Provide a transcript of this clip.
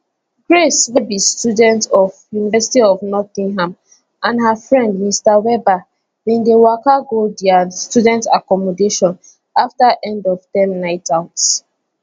grace wey be student of university of nottingham and her friend mr webber bin dey waka go dia student accommodation afta endofterm nightout